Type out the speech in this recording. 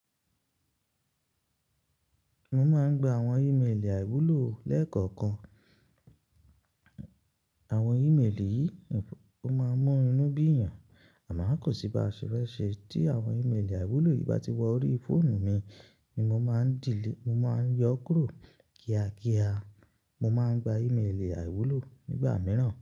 Mo máa ń gba àwọn ìmelì àìwúlò lẹ́ẹ̀kọ̀kan. Àwọn ìmelì yìí o máa ń mú inú bí èèyàn, àmọ́ kò sí baṣe fese tí àwọn ìmelì àìwúlò yìí bá ti wọ ori fóònù mi ni mo máa ń yọ kúrò kíákíá. Mo máa ń gba ìmelì àìwúlò nígbà mìíràn.